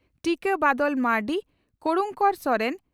ᱴᱤᱠᱟᱹ ᱵᱟᱫᱚᱞ ᱢᱟᱨᱱᱰᱤ ᱠᱚᱨᱩᱬᱠᱚᱨ ᱥᱚᱨᱮᱱ